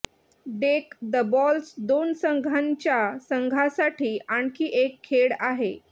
deck the balls दोन संघांच्या संघासाठी आणखी एक खेळ आहे